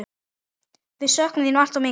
Við söknum þín alltof mikið.